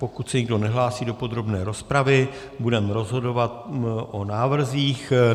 Pokud se nikdo nehlásí do podrobné rozpravy, budeme rozhodovat o návrzích.